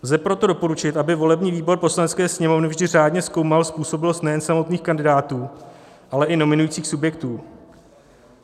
Lze proto doporučit, aby volební výbor Poslanecké sněmovny vždy řádně zkoumal způsobilost nejen samotných kandidátů, ale i nominujících subjektů.